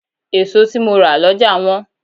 Èso tí mo rà lọ́jà wọ́n.